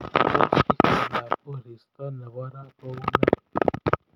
Tos itondab koristo nebo raa koune